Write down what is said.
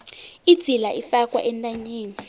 idzila ifakwa entanyeni